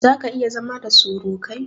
Zaka/iya zama da surukai?